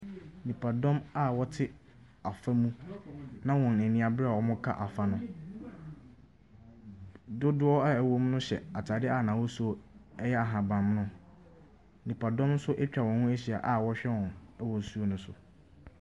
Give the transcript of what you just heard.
Nnipadɔm a wɔte afɔ mu na wɔn ani abere na wɔreka afɔ no. Dodoɔ a ɛwɔ mu no hyɛ ataadeɛ a n'ahosu yɛ ahaban mono. Nnipadɔm nso atwa wɔn ho ahyia a wɔrehwɛ wɔn wɔ nsuo no so.